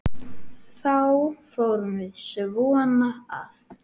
Þá förum við svona að